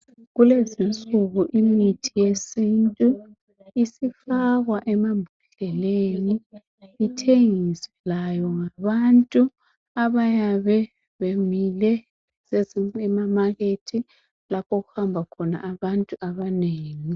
Kulezinsuku imithi yesintu isifakwa emambodleleni ithengiswe layo ngabantu abayabe bemile emamakhethi lapho okuhamba khona abantu abanengi.